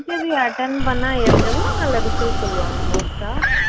interview attend பண்ணா எப் எவ்வளோ நாள்ல result சொல்லுவாங்க most ஆ